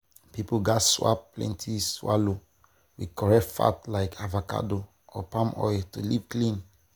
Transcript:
people gats swap plenty swallow with correct fat like avocado or palm oil to live clean.